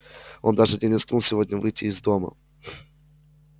он даже не рискнул сегодня выйти из дома